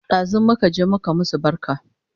Ɗazun muka je muka masu barka